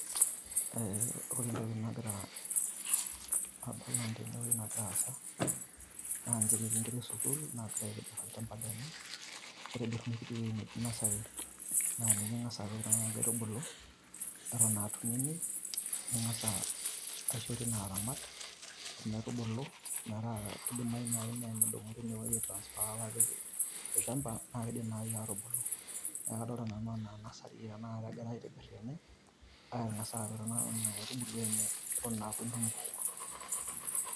Eeeh ore entoki nagira adol nanu tene wueji nagira aasa naa nchere etii nkera e sukuul naagira aitobir olchamba lenye. Aitobir ene kiti wueji naji nursery. Naa ninye ing`as apik tenakata inkaitubulu, eton aa kutitik ning`as ashum teine aramat, o metubulu metaa kidimayu naaji naa idumu teine ai transfer alo apik olchamba na kidim naaji aatubulu. Niaku kadolita nanu enaa nursery tenakata egirai aitibirr tene aang`as naa apik nena aitubulu enye eton aa kuninik.